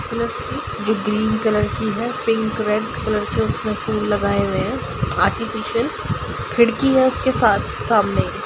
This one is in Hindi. जो ग्रीन ग्रीन की है पिंक रेड कलर की इसमें फूल लगाए हुए है आर्टिफीसियल खिड़की है उसके साथ-सामने।